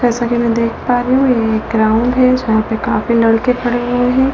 जैसा कि मैं देख पा रही हूँ ये ग्राउंड है जहां पे काफी लड़के खड़े हुए हैं।